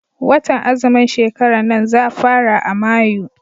Watan azumin shekaran nan za fara a Mayu.